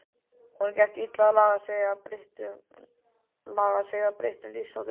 Honum gekk illa að laga sig að breyttum lífsháttum og